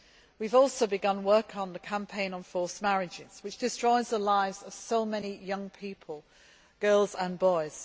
We have also begun work on the campaign on forced marriages, which destroy the lives of so many young people, girls and boys.